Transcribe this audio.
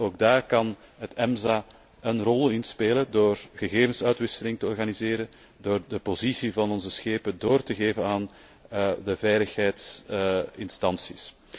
Ook daarin kan het EMSA een rol spelen door gegevensuitwisseling te organiseren, door de positie van onze schepen door te geven aan de veiligheidsinstanties.